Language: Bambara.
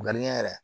yɛrɛ